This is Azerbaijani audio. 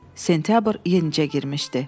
Sentyabr yenicə girmişdi.